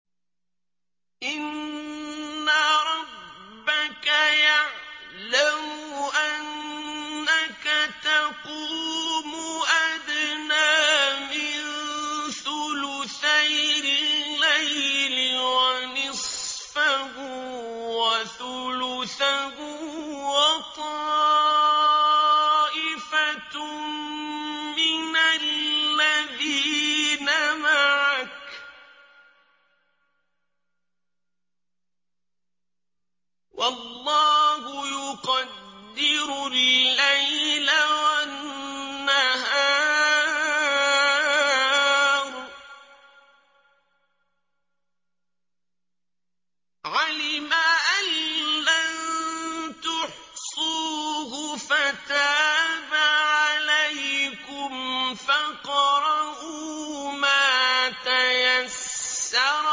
۞ إِنَّ رَبَّكَ يَعْلَمُ أَنَّكَ تَقُومُ أَدْنَىٰ مِن ثُلُثَيِ اللَّيْلِ وَنِصْفَهُ وَثُلُثَهُ وَطَائِفَةٌ مِّنَ الَّذِينَ مَعَكَ ۚ وَاللَّهُ يُقَدِّرُ اللَّيْلَ وَالنَّهَارَ ۚ عَلِمَ أَن لَّن تُحْصُوهُ فَتَابَ عَلَيْكُمْ ۖ فَاقْرَءُوا مَا تَيَسَّرَ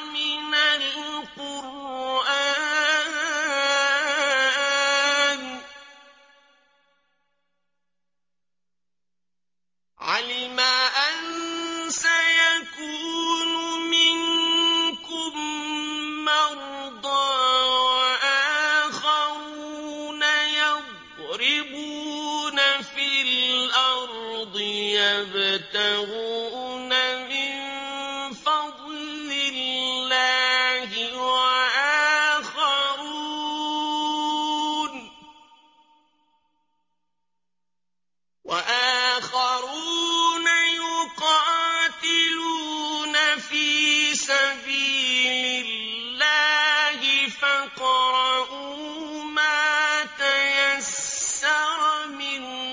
مِنَ الْقُرْآنِ ۚ عَلِمَ أَن سَيَكُونُ مِنكُم مَّرْضَىٰ ۙ وَآخَرُونَ يَضْرِبُونَ فِي الْأَرْضِ يَبْتَغُونَ مِن فَضْلِ اللَّهِ ۙ وَآخَرُونَ يُقَاتِلُونَ فِي سَبِيلِ اللَّهِ ۖ فَاقْرَءُوا مَا تَيَسَّرَ مِنْهُ ۚ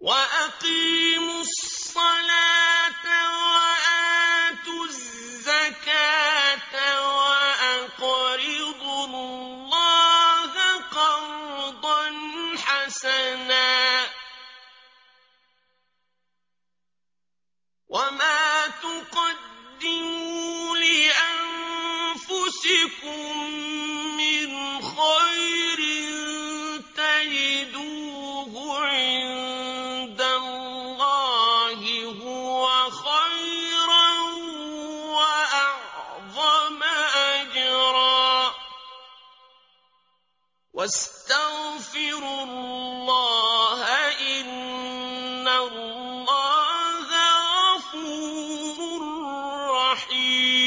وَأَقِيمُوا الصَّلَاةَ وَآتُوا الزَّكَاةَ وَأَقْرِضُوا اللَّهَ قَرْضًا حَسَنًا ۚ وَمَا تُقَدِّمُوا لِأَنفُسِكُم مِّنْ خَيْرٍ تَجِدُوهُ عِندَ اللَّهِ هُوَ خَيْرًا وَأَعْظَمَ أَجْرًا ۚ وَاسْتَغْفِرُوا اللَّهَ ۖ إِنَّ اللَّهَ غَفُورٌ رَّحِيمٌ